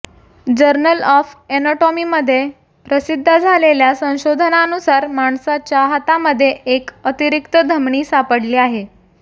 journal of एनाटॉमीमध्ये प्रसिध्द झालेल्या संशोधनानूसार माणसाच्या हातामध्ये एक अतिरिक्त धमनी सापडली आहे